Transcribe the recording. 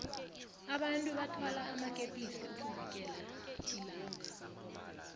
abantu bathwala amakepisi ukuvikela ilanga